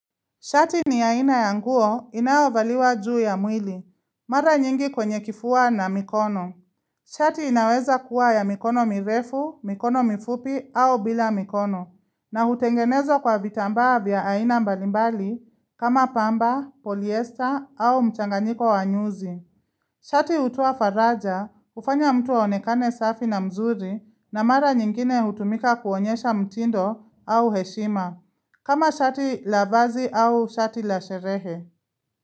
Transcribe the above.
Shati ni ya aina ya nguo inayovaliwa juu ya mwili, mara nyingi kwenye kifua na mikono. Shati inaweza kuwa ya mikono mirefu, mikono mifupi au bila mikono, na hutengenezwa kwa vitambaa vya aina mbalimbali kama pamba, polyester au mchanganyiko wa nyuzi. Shati hutoa faraja, hufanya mtu aonekane safi na mzuri na mara nyingine hutumika kuonyesha mtindo au heshima. Kama shati la vazi au shati la sherehe.